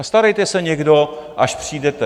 A starejte se někdo, až přijdete!